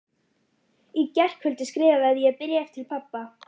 Í gærkvöldi skrifaði ég bréf til pabba.